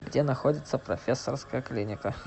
где находится профессорская клиника